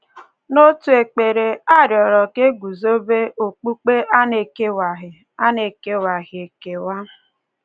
N’otu ekpere a rịọrọ ka e guzobe “okpukpe a na-ekewaghị a na-ekewaghị ekewa.”